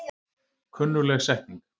Kunnugleg setning.